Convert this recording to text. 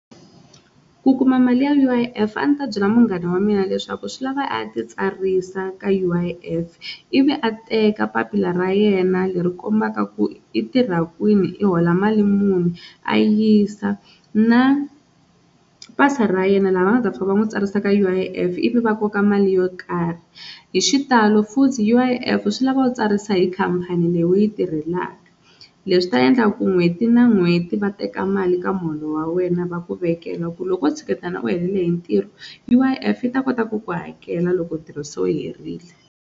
Ku kuma mali ya U_I_F a ndzi ta byela munghana wa mina leswaku swi lava a ya ti tsarisa ka U_I_F ivi a teka papila ra yena leri kombaka ku i tirha kwini i hola mali muni a yisa na pasa ra yena laha va nga ta fika va n'wi tsarisaka U_I_F ivi va koka mali yo karhi, hi xitalo futhi U_I_F swi lava u tsarisa hi khampani leyi u yi tirhelaka leswi ta endla ku n'hweti na n'hweti va teka mali ka muholo wa wena va ku vekela ku loko o tshiketana u helele hi ntirho U_I_F yi ta kota ku ku hakela loko ntirho se wu herile.